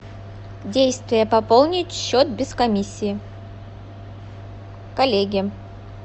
действие пополнить счет без комиссии коллеге